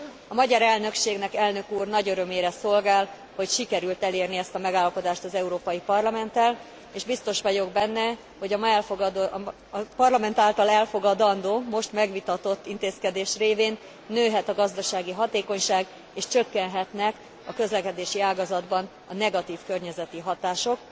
A magyar elnökségnek, elnök úr, nagy örömére szolgál, hogy sikerült elérni ezt a megállapodást az Európai Parlamenttel, és biztos vagyok benne, hogy a Parlament által elfogadandó, most megvitatott intézkedés révén nőhet a gazdasági hatékonyság és csökkenhetnek a közlekedési ágazatban a negatív környezeti hatások,